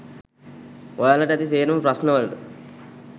ඔයාලට ඇති සේරම ප්‍රශ්න වලට